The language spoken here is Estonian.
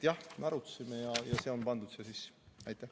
Jah, me arutasime seda ja see on pandud siia sisse.